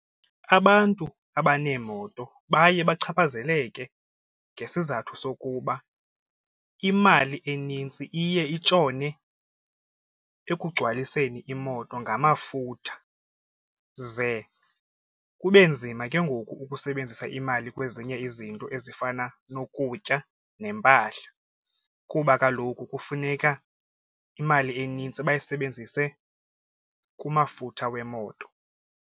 Abantu abaneemoto baye bachaphazeleke ngesizathu sokuba imali enintsi iye itshone ekugcwaliseni imoto ngamafutha ze kube nzima ke ngoku ukusebenzisa imali kwezinye izinto ezifana nokutya nempahla kuba kaloku kufuneka imali enintsi bayisebenzise kumafutha wemoto.